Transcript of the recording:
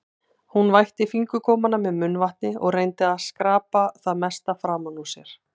Hún vætti fingurgómana með munnvatni og reyndi að skrapa það mesta framan úr sér.